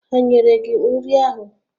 Ha nyere gị nri ahụ?